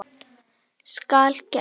Skal gert!